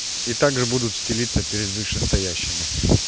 и также будут стелиться перед вышестоящими